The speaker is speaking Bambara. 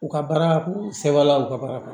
U ka baara sɛbɛnla u ka baara